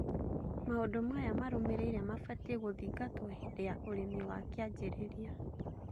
Maũndũ maya marũmĩrĩire mabatie gũthingatwo hĩndĩ ya ũrĩmi wa kĩanjĩrĩria